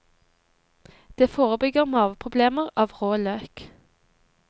Det forebygger maveproblemer av rå løk.